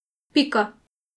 Pika.